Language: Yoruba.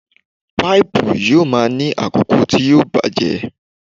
Páípù yóò máa ní àkókò tí yóò bàjẹ́.